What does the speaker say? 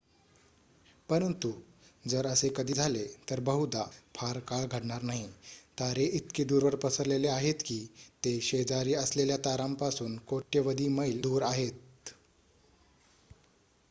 "परंतु जर असे कधी झाले तर बहुधा फार काळ घडणार नाही. तारे इतके दूरवर पसरलेले आहेत की ते "शेजारी" असलेल्या ताऱ्यांपासून कोट्यवधी मैल दूर आहेत.